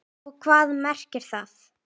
Og hvað merkir það?